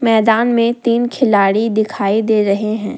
मैदान में तीन खिलाड़ी दिखाई दे रहे हैं।